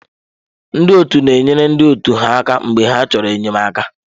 Ndị ọtu na enyere ndị otu ha aka mgbe ha chọrọ enyemaka.